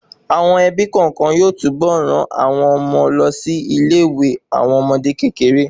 Àwọn ẹbí kọọkan yóò tún bọ ran àwọn ọmọ lọ sí ilé ìwé àwọn ọmọdé kékeré